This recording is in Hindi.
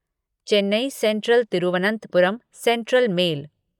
Chennai central Thiruvananthapuram central mail